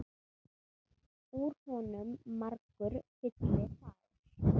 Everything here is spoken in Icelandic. Úr honum margur fylli fær.